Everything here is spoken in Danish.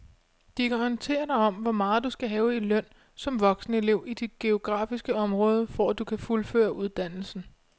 De kan orientere dig om hvor meget du skal have i løn som voksenelev i dit geografiske område, for at du kan fuldføre uddannelsen.